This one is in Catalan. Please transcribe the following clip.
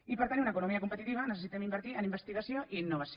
i per tenir una economia competitiva necessitem invertir en investigació i innovació